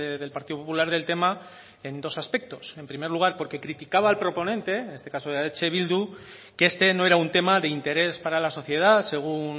del partido popular del tema en dos aspectos en primer lugar porque criticaba al proponente en este caso de eh bildu que este no era un tema de interés para la sociedad según